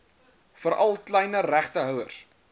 veral kleiner regtehouers